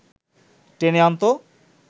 টেনে আনত